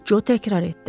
Co təkrar etdi.